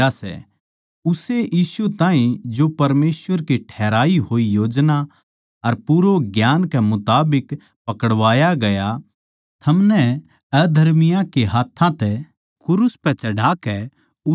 उस्से यीशु ताहीं जो परमेसवर की ठहराई होई योजना अर पूर्व ज्ञान कै मुताबिक पकड़वाया गया थमनै अधर्मियाँ के हाथ्थां तै क्रूस पै चढ़ाकै मार दिया